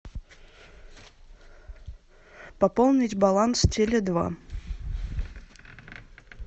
пополнить баланс теле два